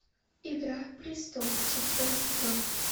игра престолов шестой сезон